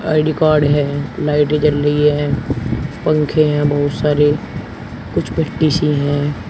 पेडीकार्ड है लाइटें जल रही हैं पंखे हैं बहुत सारे कुछ सी हैं।